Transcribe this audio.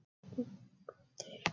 Það er farið að slitna sagði hann.